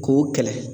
K'o kɛlɛ